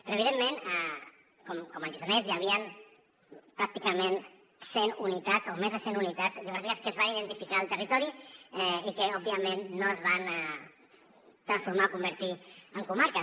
però evidentment com el lluçanès hi havien pràcticament cent unitats o més de cent unitats geogràfiques que es van identificar al territori i que òbviament no es van transformar o convertir en comarques